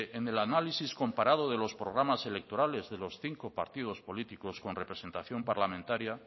en el análisis comparado de los programas electorales de los cinco partidos políticos con representación parlamentaria